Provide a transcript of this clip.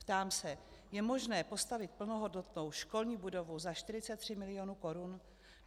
Ptám se: Je možné postavit plnohodnotnou školní budovu za 43 milionů korun?